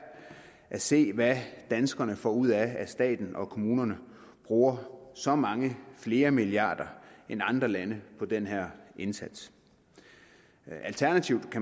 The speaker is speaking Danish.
at se hvad danskerne får ud af at staten og kommunerne bruger så mange flere milliarder end andre lande på den her indsats alternativt